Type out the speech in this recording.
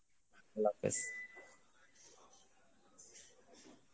Arbi